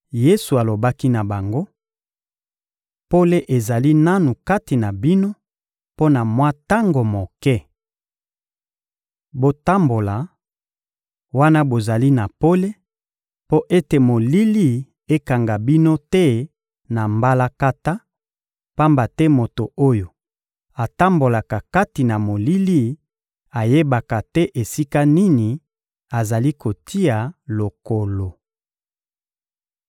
Yesu alobaki na bango: — Pole ezali nanu kati na bino mpo na mwa tango moke. Botambola, wana bozali na pole, mpo ete molili ekanga bino te na mbalakata; pamba te moto oyo atambolaka kati na molili ayebaka te esika nini azali kotia lokolo.